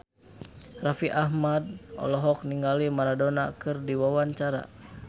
Raffi Ahmad olohok ningali Maradona keur diwawancara